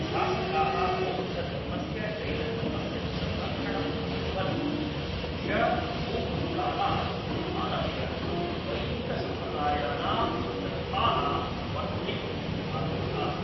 शासकाः बौद्धधर्मस्य जैनधर्मस्य च संरक्षणम् अकुर्वन्, श.पू. कालात् आरभ्य वैदिकसम्प्रदायानां सन्दर्भाः वर्धयितुं आरब्धाः।